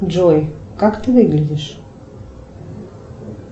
джой как ты выглядишь